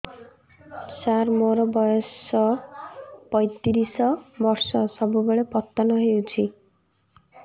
ସାର ମୋର ବୟସ ପୈତିରିଶ ବର୍ଷ ସବୁବେଳେ ପତନ ହେଉଛି